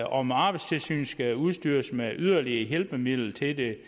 om arbejdstilsynet skal udstyres med yderligere hjælpemidler til det